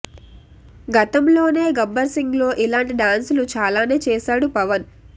గతంలోనే గబ్బర్ సింగ్ లో ఇలాంటి డాన్సులు చాలానే చేసాడు పవన్